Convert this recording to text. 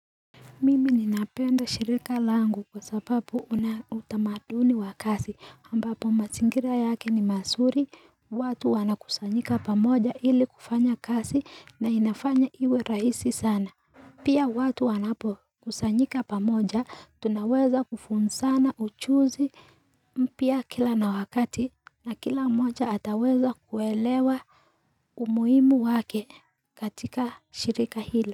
Mimi ninapenda shirika langu kwa sababu una utamaduni wa kazi ambapo mazingira yake ni mazuri watu wanakusanyika pamoja ili kufanya kazi na inafanya iwe raisi sana Pia watu wanapo kusanyika pamoja tunaweza kufunzana uchuzi mpya kila na wakati na kila moja ataweza kuelewa umuimu wake katika shirika hila.